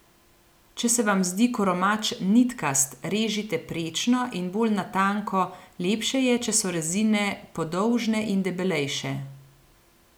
Če se vam zdi koromač nitkast, režite prečno in bolj na tanko, lepše je, če so rezine podolžne in debelejše.